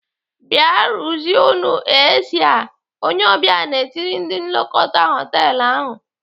"Bịa ruzienu AC a!" Onye ọbịa na-etiri ndị nlekọta họtelu ahụ.